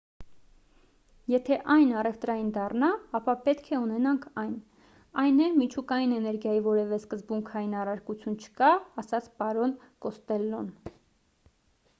եթե այն առևտրային դառնա ապա պետք է ունենանք այն այն է միջուկային էներգիայի որևէ սկզբունքային առարկություն չկա ասաց պարոն կոստելլոն